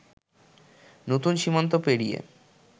নতুন সীমান্ত পেরিয়ে